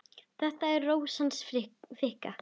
Þetta er Rósin hans Fikka.